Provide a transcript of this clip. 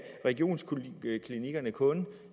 regionsklinikkerne kun